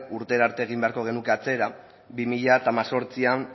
urtera arte egin beharko genuke atzera bi mila hemezortzian